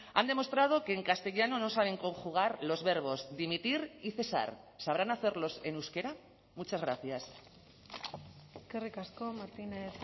han demostrado que en castellano no saben conjugar los verbos dimitir y cesar sabrán hacerlos en euskera muchas gracias eskerrik asko martínez